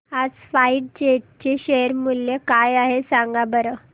आज SpiceJet चे share मूल्य काय आहे सांगा बरं